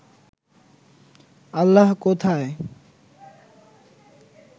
আল্লাহ কোথায়?